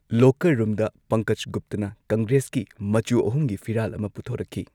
Locker ꯔꯨꯝꯗ ꯄꯪꯀꯖ ꯒꯨꯞꯇꯥꯅ ꯀꯪꯒ꯭ꯔꯦꯁꯀꯤ ꯃꯆꯨ ꯑꯍꯨꯝꯒꯤ ꯐꯤꯔꯥꯜ ꯑꯃꯥ ꯄꯨꯊꯣꯔꯛꯈꯤ꯫